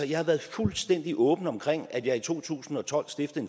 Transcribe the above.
jeg har været fuldstændig åben omkring at jeg i to tusind og tolv stiftede